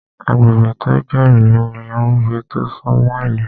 Agbègbè tó jẹ́ ìlú ní agbègbè tó sún mọ́ ìlú